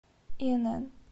инн